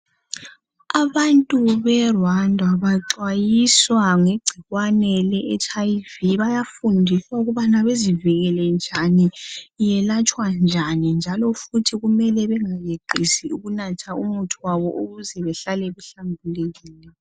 Abantu be Rwanda baxwayiswa ngegcikwane le Hiv bayafundiswa ukubana bezivikele njani iyelatshwa njani njalo futhi bengayeqisi ukunatha umuthi wabo ukuze behlale behlambulukile.